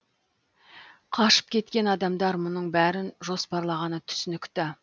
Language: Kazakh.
қашып кеткен адамдар мұның бәрін жоспарлағаны түсінікті